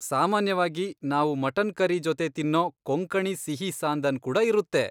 ಸಾಮಾನ್ಯವಾಗಿ ನಾವು mutton curry ಜೊತೆ ತಿನ್ನೋ ಕೊಂಕಣಿ ಸಿಹಿ ಸಾಂದನ್ ಕೂಡ ಇರುತ್ತೆ.